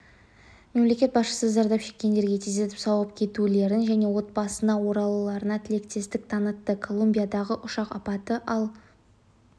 мемлекет басшысы зардап шеккендерге тездетіп сауығып кетулерін және отбасына оралуларына тілектестік танытты колумбиядағы ұшақ апаты ал